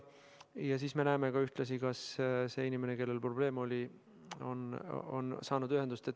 Ja siis me näeme ühtlasi, kas see inimene, kellel probleem oli, on saanud ühendust.